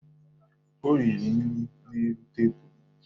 O riri nri n'elu tebulu